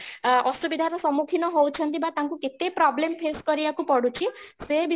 ଅସୁବିଧାରେ ସମ୍ମୁଖୀନ ହଉଛନ୍ତି ବା ତାଙ୍କୁ କେତେ problem face କରିବାକୁ ପଡୁଛି ସେ ବିଷୟରେ